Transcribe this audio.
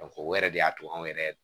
o yɛrɛ de y'a to anw yɛrɛ